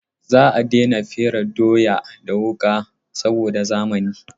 Za a daina fere doya da wuƙa saboda zamani.